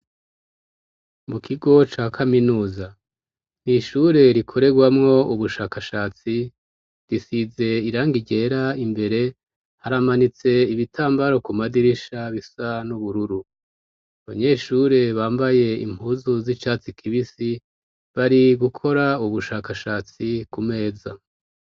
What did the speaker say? Mu kigo ca kaminuza nishure rikorerwamo ubushakashatsi risize irangigera imbere haramanitse ibitambaro ku madirisha bisa n'ubururu abanyeshure bambaye impuzu z'icatsi kibisi bari gukora ubushakashatsi ku meza.